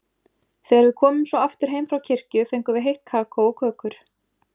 Þegar við komum svo aftur heim frá kirkju fengum við heitt kakó og kökur.